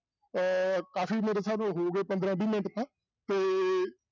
ਇਹ ਕਾਫ਼ੀ ਮੇਰੇ ਹਿਸਾਬ ਨਾਲ ਹੋ ਗਏ ਪੰਦਰਾਂ ਵੀਹ ਮਿੰਟ ਤਾਂ ਤੇ